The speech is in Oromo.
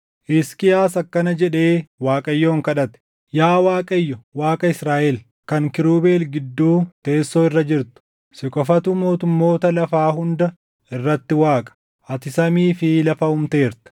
Hisqiyaas akkana jedhee Waaqayyoon kadhate; “Yaa Waaqayyo, Waaqa Israaʼel, kan kiirubeel gidduu teessoo irra jirtu, si qofatu mootummoota lafaa hunda irratti Waaqa. Ati samii fi lafa uumteerta.